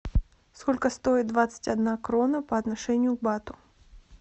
сколько стоит двадцать одна крона по отношению к бату